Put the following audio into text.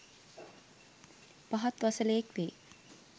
පහත් වසලයෙක් වේ.